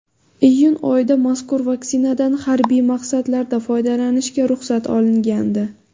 Iyun oyida mazkur vaksinadan harbiy maqsadlarda foydalanishga ruxsat olingandi.